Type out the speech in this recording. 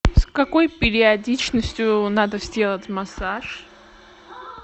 с какой периодичностью надо сделать массаж